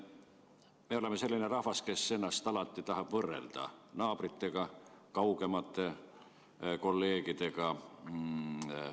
Me oleme selline rahvas, kes ennast alati tahab võrrelda naabrite ja kaugemate kolleegidega.